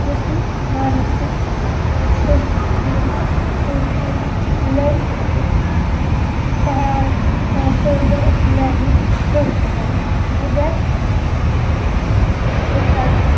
कृती मानसिक